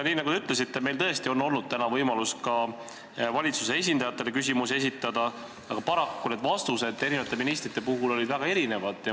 Nii nagu te ütlesite, oli meil tõesti täna võimalus ka valitsuse esindajatele küsimusi esitada, aga paraku olid vastused eri ministrite puhul väga erinevad.